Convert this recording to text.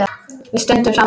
Við stöndum saman!